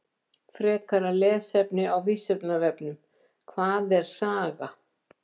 Frekara lesefni á Vísindavefnum: Hvað er saga?